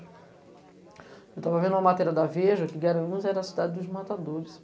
Eu estava vendo uma matéria da Veja que Guaranus era a cidade dos matadores.